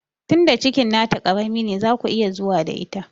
Tinda cikin na ta ƙarami ne zaku iya zuwa da ita